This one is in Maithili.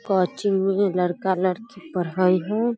काची उ लड़का-लड़की पढ़ाई है।